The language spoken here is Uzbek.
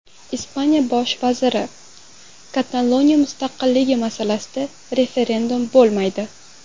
Ispaniya bosh vaziri: Kataloniya mustaqilligi masalasida referendum bo‘lmaydi.